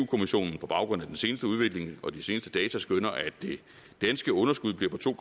kommissionen på baggrund af den seneste udvikling og de seneste data skønner at det danske underskud bliver på to